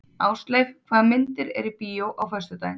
Ásleif, hvaða myndir eru í bíó á föstudaginn?